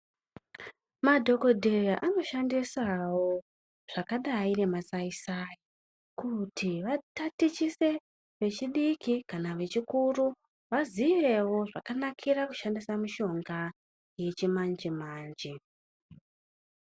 Madhokodheya anoshandisawo zvakadai ngemasaisai kuti vatatichise vechidiki kana vechikuru vaziyewo zvakanakira kushandisa mishonga yechimanje manje.